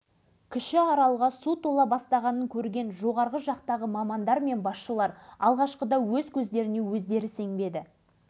алашыбай өзін тұңғыш рет бақытты сезінді қуаныштан көзіне жас алды енді осы істі мемлекет деңгейінде қолға